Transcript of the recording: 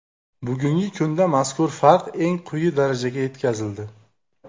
Bugungi kunda mazkur farq eng quyi darajaga yetkazildi.